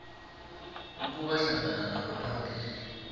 ukuba hlangana nabaphambili